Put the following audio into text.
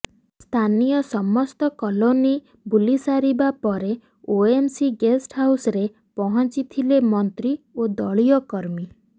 ସ୍ଥାନୀୟ ସମସ୍ତ କଲୋନୀ ବୁଲିସାରିବା ପରେ ଓଏମସି ଗେଷ୍ଟହାଉସରେ ପହଞ୍ଚିଥିଲେ ମନ୍ତ୍ରୀ ଓ ଦଳୀୟ କର୍ମୀ